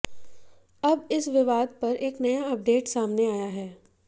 अब इस विवाद पर एक नया अपडेट सामने आया है